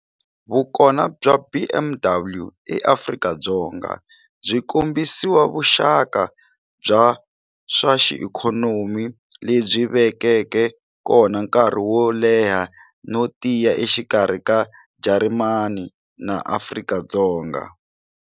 Vukona bya BMW eAfrika-Dzonga byi kombisiwa vuxaka bya swa ikhonomi lebyi vekeke kona nkarhi wo leha no tiya exikarhi ka Jarimani na Afrika-Dzonga.